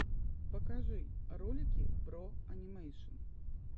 покажи ролики бро анимэйшн